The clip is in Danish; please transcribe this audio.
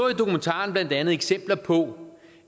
er jeg sikker på